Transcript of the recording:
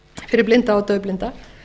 fyrir blinda og daufblinda